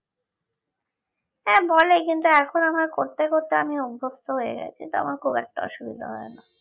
হ্যাঁ বলে কিন্তু এখন আমার করতে করতে আমি অভস্ত হয়ে গেছি তো আমার খুব একটা অসুবিধা হয় না